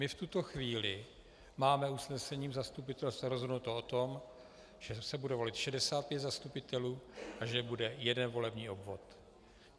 My v tuto chvíli máme usnesením zastupitelstva rozhodnuto o tom, že se bude volit 65 zastupitelů a že bude jeden volební obvod.